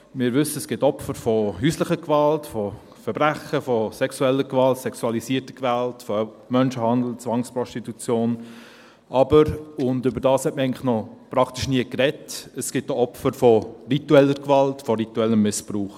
Wir wissen, es gibt Opfer von häuslicher Gewalt, von Verbrechen, von sexueller Gewalt, sexualisierter Gewalt, von Menschenhandel, Zwangsprostitution, aber – und darüber hat man eigentlich praktisch noch nie gesprochen – es gibt auch Opfer von ritueller Gewalt, von rituellem Missbrauch.